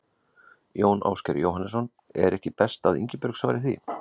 Jón Ásgeir Jóhannesson: Er ekki best að Ingibjörg svari því?